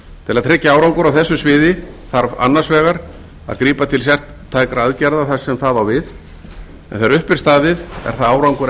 til að tryggja árangur á þessu sviði þarf annars vegar að grípa til sértækra aðgerða þar sem það á við en þegar upp er staðið er það árangur